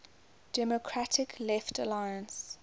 democratic left alliance